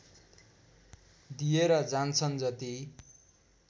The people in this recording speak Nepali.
दिएर जान्छन् जति